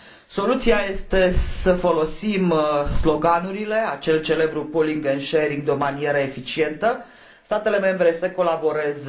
Soluția este să folosim sloganurile, acel celebru pooling and sharing, de o manieră eficientă statele membre să colaboreze